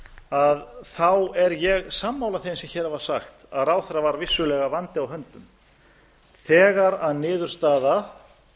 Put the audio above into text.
að þá er ég sammála þeim sem hér hafa sagt að ráðherra var vissulega vandi á höndum þegar niðurstaða